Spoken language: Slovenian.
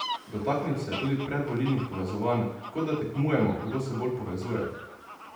Dotaknil se je tudi predvolilnih povezovanj: "Kot da tekmujemo, kdo se bolj povezuje.